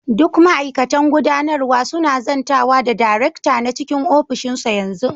Duk ma'aikatan gudanarwa suna zantawa da darekta a cikin ofishinsa yanzu.